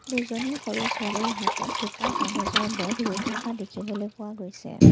দুজনী সৰু ছোৱালীৰ হাতত দুটা কাগজৰ বেগ লৈ থকা দেখিবলৈ পোৱা গৈছে।